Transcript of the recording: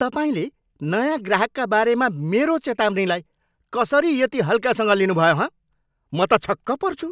तपाईँले नयाँ ग्राहकका बारेमा मेरो चेतावनीलाई कसरी यति हल्कासँग लिनुभयो हँ? म त छक्क पर्छु।